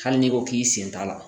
Hali n'i ko k'i sen t'a la